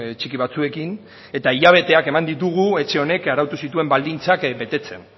txiki batzuekin eta hilabeteak eman ditugu etxe honek arautu zituen baldintzak betetzen